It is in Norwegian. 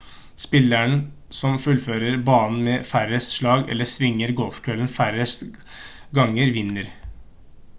spilleren som fullfører banen med færrest slag eller svinger golfkøllen færrest ganger vinner